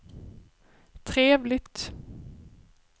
trevligt